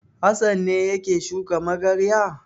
Hassan ne yake shuka magarya.